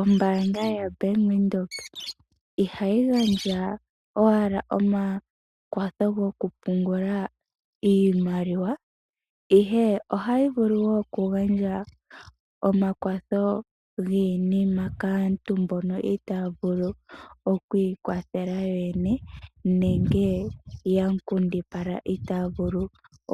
Ombaanga yaBank Windhoek ihayi gandja owala omakwatho gokupungula iimaliwa, ihe ohayi vulu wo okugandja giinima kaantu mbono itaa vulu okwiikwathela yo yene nenge ya nkundipala itaaya vulu